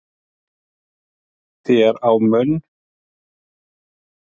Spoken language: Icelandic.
þér á munn